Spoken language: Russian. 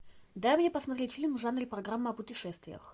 дай мне посмотреть фильм в жанре программа о путешествиях